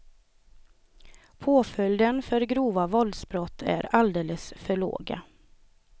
Påföljden för grova våldsbrott är alldeles för låga.